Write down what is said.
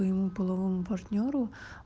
твоему половому партнёру